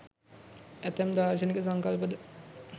ඇතැම් දාර්ශනික සංකල්ප ද